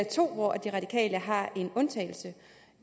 to hvor de radikale har en undtagelse